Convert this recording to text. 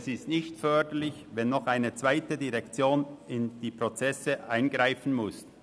es ist nicht förderlich, wenn noch eine zweite Direktion in die Prozesse eingreifen muss.